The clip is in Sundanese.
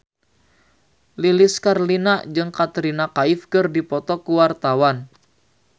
Lilis Karlina jeung Katrina Kaif keur dipoto ku wartawan